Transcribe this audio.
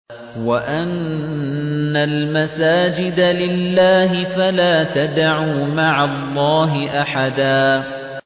وَأَنَّ الْمَسَاجِدَ لِلَّهِ فَلَا تَدْعُوا مَعَ اللَّهِ أَحَدًا